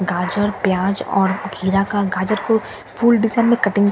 गाजर प्याज और खीर का गाजर को फूल के डिजाइन में कटिंग --